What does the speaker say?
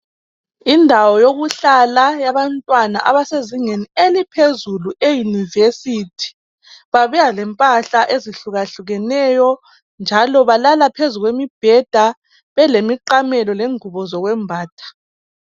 Indawo yokuhlala yabantwana abasezingeni eliphezulu eyunivesithi babuya lempahla ezihlukahlukeneyo njalo balala phezu kwemibheda belemiqamelo lengubo zokwembatha.